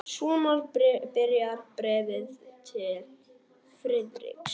Svona byrjaði bréfið til Friðriks.